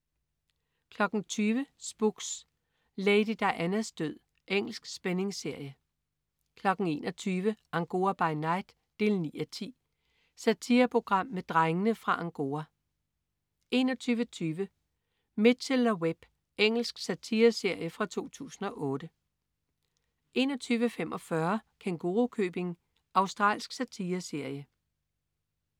20.00 Spooks: Lady Dianas død. Engelsk spændingsserie 21.00 Angora by night 9:10. Satireprogram med "Drengene fra Angora" 21.20 Mitchell & Webb. Engelsk satireserie fra 2008 21.45 Kængurukøbing. Australsk satireserie